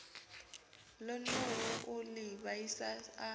ṱoḓou u ḽi vhaisa a